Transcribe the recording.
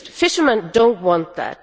Fishermen do not want that